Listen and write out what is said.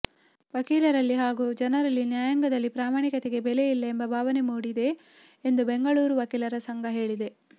ವಕೀಲರಲ್ಲಿ ಹಾಗೂ ಜನರಲ್ಲಿ ನ್ಯಾಯಾಂಗದಲ್ಲಿ ಪ್ರಾಮಾಣಿಕತೆಗೆ ಬೆಲೆ ಇಲ್ಲ ಎಂಬ ಭಾವನೆ ಮೂಡಿದೆ ಎಂದು ಬೆಂಗಳೂರು ವಕೀಲರ ಸಂಘ ಹೇಳಿದೆ